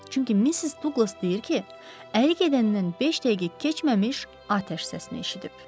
Çünki Missis Duqlas deyir ki, Əli gedəndən beş dəqiqə keçməmiş atəş səsini eşidib.